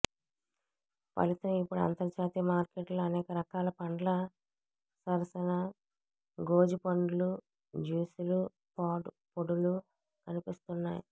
ఫలితం ఇప్పుడు అంతర్జాతీయ మార్కెట్లలో అనేకరకాల పండ్ల సరసన గోజి పండ్లూ జ్యూసులూ పొడులూ కనిపిస్తున్నాయి